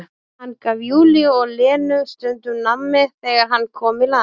Hann gaf Júlíu og Lenu stundum nammi þegar hann kom í land.